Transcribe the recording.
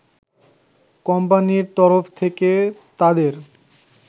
কোম্পানির তরফ থেকে তাদের